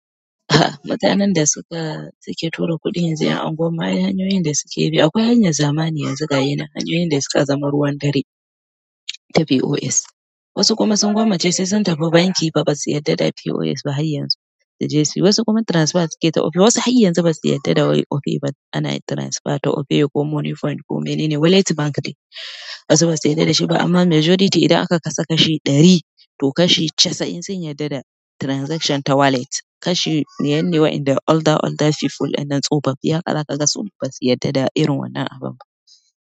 A'a, mutanen da suka suke tura kuɗin yanzu ƴan anguwan mu akeai hanyoyin da suke bi. Akwai hanyar zamani yanzu ga yinan hanyoyin da suka zama ruwan dare ta POS. Wasu kuma sun gwammace sai sun tafi banki ba basu yarda da POS ba har yanzu suje suyi. Wasu kuma transfer suke ta Opay, wasu har yanzu basu yarda da wai Opay ba ana transfer ta Opay ko Moniepoint ko menene wallet bank ne basu basu yarda da shi ba. Amma majority idan aka kasa kashi ɗari to kashi casa'in sun yarda da transaction ta wallet. Kashi biyar wanda da older older people anan tsofofiye haka za kaga basu yarda da irin wannan abun ba.